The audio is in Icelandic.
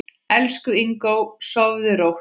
Elsku Ingó, sofðu rótt.